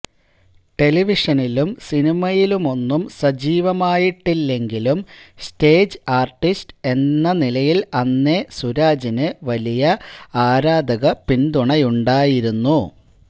ടെലിവിഷനിലും സിനിമയിലുമൊന്നും സജീവമായിട്ടില്ലെങ്കിലും stage artist എന്ന നിലയിൽ അന്നേ സുരാജിന് വലിയ ആരാധക പിന്തുണയുണ്ടായിരിരുന്നു